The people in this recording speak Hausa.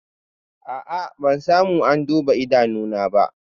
A'a, ban samu an duba idanuna ba